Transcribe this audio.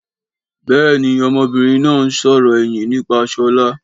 Béèni ọmọbìnrin náà ń sòrò ẹ̀yìn nípa Ṣọlá